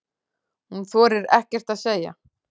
Hún þorir ekkert að segja.